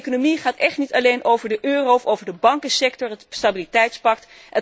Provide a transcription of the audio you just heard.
Economie gaat echt niet alleen over de euro of over de bankensector, het Stabiliteitspact.